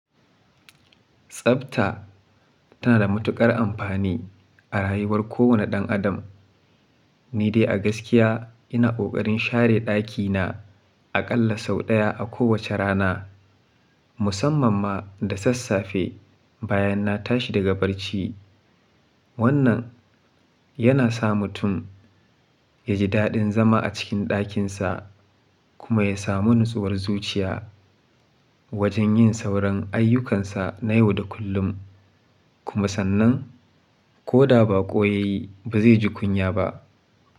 Tsabta tana da matuƙar amfani a rayuwar kowane ɗan adam. Ni dai a gaskiya ina ƙoƙarin share ɗakina aƙalla sau ɗaya a kowace rana, musamman ma da sassafe bayan na tashi daga barci. Wannan yana sa mutum ya ji daɗin zama a cikin ɗakinsa kuma ya samu natsuwar zuciya wajen yin sauran ayyukansa na yau da kullum. Kuma sannan ko da baƙo ya yi ba zai ji kunya ba.